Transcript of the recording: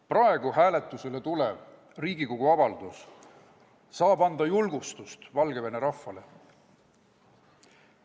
" Praegu hääletusele tulev Riigikogu avaldus saab anda Valgevene rahvale julgustust.